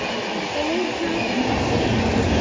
Þá er það sagan.